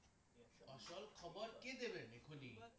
আসল খবরকে দিবেন এখনই